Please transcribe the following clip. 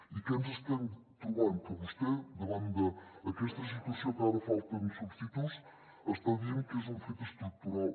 i què ens estem trobant que vostè davant d’aquesta situació que ara falten substituts està dient que és un fet estructural